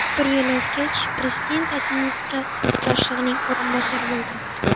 Bir yil o‘tgach, prezident administratsiyasi boshlig‘ining o‘rinbosari bo‘lgan.